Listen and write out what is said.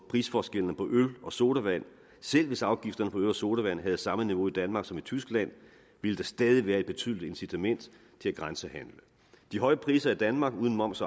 prisforskellen på øl og sodavand selv hvis afgifterne på øl og sodavand havde samme niveau i danmark som i tyskland ville der stadig være et betydeligt incitament til at grænsehandle de høje priser i danmark uden moms